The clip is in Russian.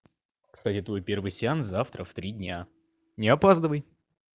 кстати твой первый сеанс завтра в три дня не опаздывай